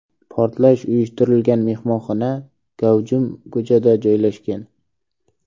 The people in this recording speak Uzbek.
Portlash uyushtirilgan mehmonxona gavjum ko‘chada joylashgan.